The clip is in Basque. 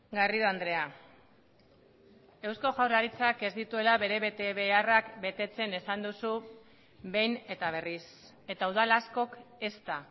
garrido andrea eusko jaurlaritzak ez dituela bere betebeharrak betetzen esan duzu behin eta berriz eta udal askok ezta